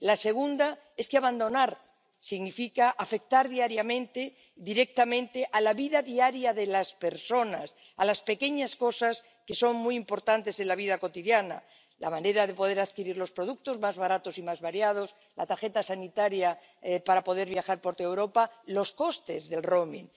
La segunda es que abandonar significa afectar diariamente, directamente a la vida diaria de las personas, a las pequeñas cosas que son muy importantes en la vida cotidiana la manera de poder adquirir los productos más baratos y más variados, la tarjeta sanitaria para poder viajar por toda Europa, los costes del roaming